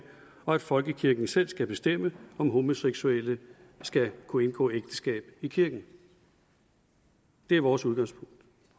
og at folkekirken selv skal bestemme om homoseksuelle skal kunne indgå ægteskab i kirken det er vores udgangspunkt